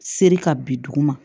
Seri ka bin duguma